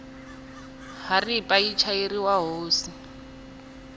haripa yi chayeriwa hosi